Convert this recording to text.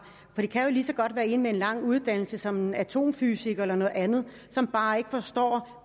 det kan jo lige så godt være en med en lang uddannelse som atomfysiker eller noget andet som bare ikke forstår